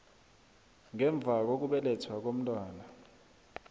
ngemva kokubelethwa komntwana